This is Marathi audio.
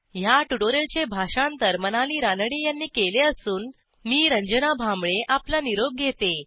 ह्या ट्युटोरियलचे भाषांतर मनाली रानडे यांनी केले असून मी रंजना भांबळे आपला निरोप घेते